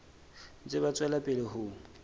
ntse ba tswela pele ho